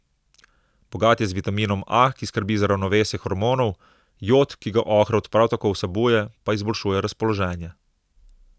Bogat je z vitaminom A, ki skrbi za ravnovesje hormonov, jod, ki ga ohrovt prav tako vsebuje, pa izboljšuje razpoloženje.